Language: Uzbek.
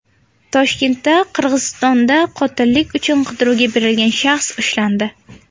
Toshkentda Qirg‘izistonda qotillik uchun qidiruvga berilgan shaxs ushlandi.